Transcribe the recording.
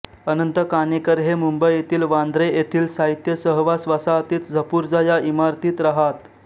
अनंत काणेकर हे मुंबईतील वांद्रे येथील साहित्य सहवास वसाहतीत झपूर्झा या इमारतीत रहात